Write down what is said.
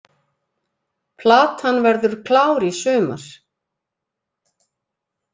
Platan verður klár í sumar